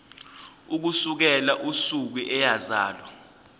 ukusukela usuku eyazalwa